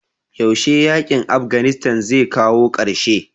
yaushe yakin Afghanistan zai kawo karshe?